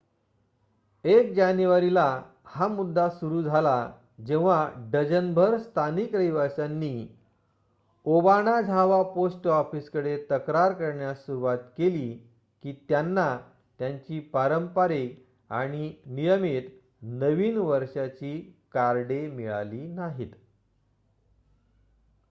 1 जानेवारीला हा मुद्दा सुरू झाला जेव्हा डझनभर स्थानिक रहिवाशांनी ओबाणाझावा पोस्ट ऑफिसकडे तक्रार करण्यास सुरूवात केली की त्यांना त्यांची पारंपारिक आणि नियमित नवीन वर्षाची कार्डे मिळाली नाहीत